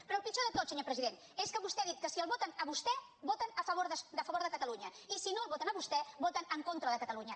però el pitjor de tot senyor president és que vostè ha dit que si el voten a vostè voten a favor de catalunya i si no el voten a vostè voten en contra de catalunya